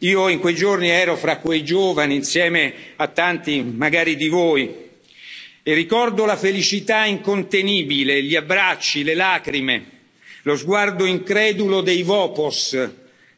Io, in quei giorni, ero fra quei giovani, insieme a tanti magari di voi, e ricordo la felicità incontenibile, gli abbracci, le lacrime, lo sguardo incredulo dei Vopos